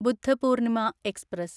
Buddha Purnima express